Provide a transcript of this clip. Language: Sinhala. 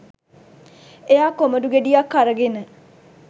එයා කොමඩු ගෙඩියක් අරගෙන